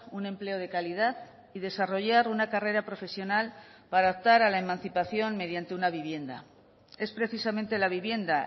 un empleo de calidad y desarrollar una carrera profesional para optar a la emancipación mediante una vivienda es precisamente la vivienda